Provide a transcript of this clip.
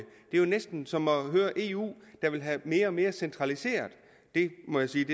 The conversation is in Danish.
jo næsten som at høre eu der vil have mere og mere centraliseret jeg må sige